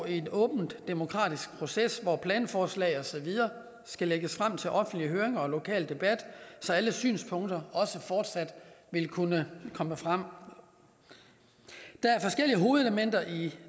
en åben demokratisk proces hvor planforslag og så videre skal lægges frem til offentlig høring og lokal debat så alle synspunkter også fortsat vil kunne komme frem der er forskellige hovedelementer i